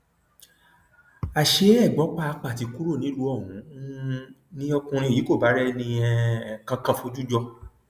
àṣé ẹgbọn pàápàá ti kúrò nílùú ọhún um ni ọkùnrin yìí kò bá rẹnì um kankan fojú jọ